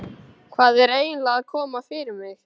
Hvað er eiginlega að koma fyrir mig?